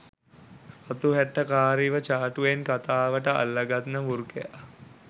රතු හැට්ටකාරිව චාටුවෙන් කතාවට අල්ල ගන්න වෘකයා